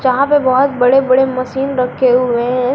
यहां पे बहुत बड़े बड़े मशीन रखे हुए हैं।